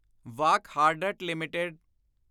Wockhardt limited